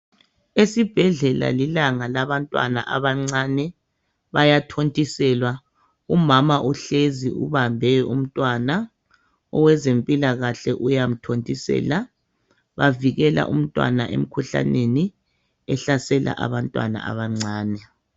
Esibhedlela lilanga labantwana abancane bayathontiselwa umama uhlezi ubambe umntwana owezempilakahle uyamthontisela bavikela umntwana emkhuhlaneni ehlasela abantwana abancane.